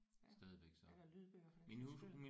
Ja eller lydbøger for den sags skyld